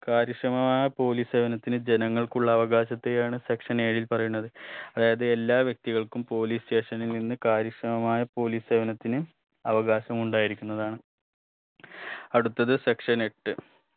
കാര്യക്ഷമമായ police സേവനത്തിന് ജനങ്ങൾക്കുള്ള അവകാശത്തെയാണ് section ഏഴിൽ പറയുന്നത് അതായത് എല്ലാ വ്യക്തികൾക്കും police station ൽ നിന്ന് കാര്യക്ഷമമായ police സേവനത്തിന് അവകാശമുണ്ടായിരിക്കുന്നതാണ് അടുത്തത് section എട്ട്